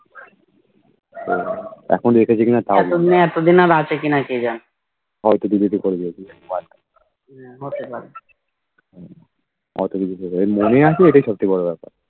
ও এখন রেখেছে কি না তাও জানিনা হয়তো Delete ও করে দিয়েছে হয়তো Delete করে দিয়েছে ওর মনে আছে এটাই সবথেকে বড়ো কথা